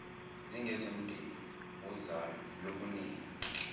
zingezomndeni wozalo lukanina